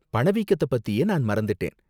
பண வீக்கத்த பத்தியே நான் மறந்துட்டேன்.